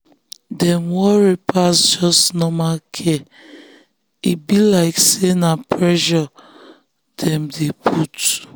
dem worry pass just normal care e be like say na pressure dem dey put.